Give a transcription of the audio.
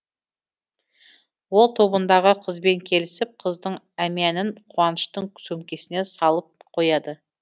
ол тобындағы қызбен келісіп қыздың әмиянын қуаныштың сөмкесіне салып қояды